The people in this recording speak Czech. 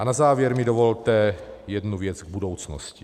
A na závěr mi dovolte jednu věc k budoucnosti.